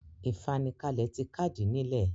ìfanikalẹ̀ ti kàdìí nílẹ̀.